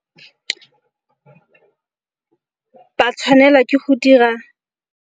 Ba tshwanela ke go dira.